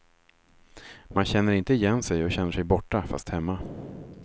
Man känner inte igen sig och känner sig borta, fast hemma.